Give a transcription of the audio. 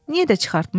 Niyə də çıxartmayım?